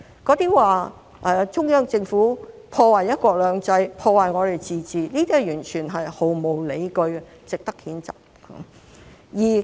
說中央政府破壞"一國兩制"、破壞香港的自治，這些完全是毫無理據，值得譴責。